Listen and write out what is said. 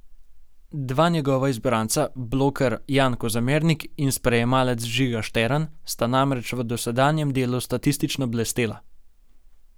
Dva njegova izbranca, bloker Jan Kozamernik in sprejemalec Žiga Štern, sta namreč v dosedanjem delu statistično blestela.